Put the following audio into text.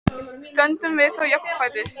Stöndum við þá jafnfætis?